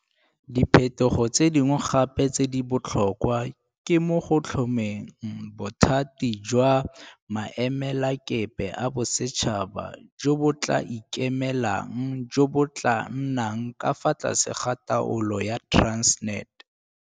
Diphetogo tse dingwe gape tse di botlhokwa ke mo go tlhomeng Bothati jwa Maemelakepe a Bosetšhaba jo bo tla ikemelang jo bo tla nnang ka fa tlase ga taolo ya Transnet.